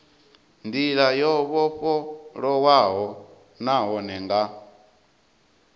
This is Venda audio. ndila yo vhofholowaho nahone nga